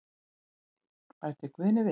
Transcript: Bætir Guðni við.